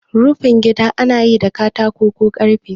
Rufin gida anayi da katako ko karfe